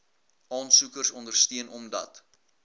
aansoekers ondersteun omdat